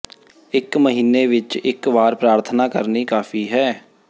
ਇਕ ਮਹੀਨੇ ਵਿਚ ਇਕ ਵਾਰ ਪ੍ਰਾਰਥਨਾ ਕਰਨੀ ਕਾਫ਼ੀ ਹੈ